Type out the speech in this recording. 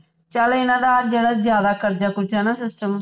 ਚੱਲ ਇਹਨਾਂ ਦਾ ਜਿਹੜਾ ਜ਼ਿਆਦਾ ਕਰਜ਼ਾ ਕੁਰਜ਼ਾ ਹੈਨਾ ਸਿਸਟਮ